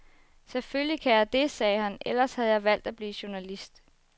Selvfølgelig kan jeg det, sagde han, ellers havde jeg valgt at blive journalist.